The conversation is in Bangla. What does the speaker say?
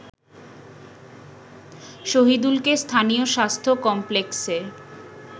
শহিদুলকে স্থানীয় স্বাস্থ্য কমপ্লেক্সে